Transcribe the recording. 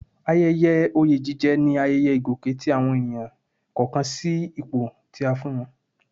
Ayẹyẹ oyè jíjẹ ni ayẹyẹ ìgòkè tí àwọn ènìyàn kọ̀ọ̀kan sí àwọn ipò tí a fún wọn